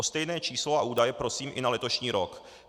O stejné číslo a údaje prosím i na letošní rok.